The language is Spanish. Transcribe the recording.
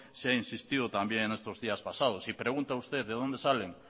se ha insistido también estos días pasados y pregunta usted de dónde salen